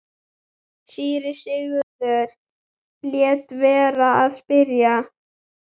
Síra Sigurður lét vera að spyrja.